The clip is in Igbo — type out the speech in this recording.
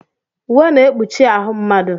Uwe na-ekpuchi ahụ mmadụ.